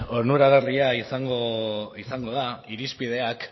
onuragarria izango da irizpideak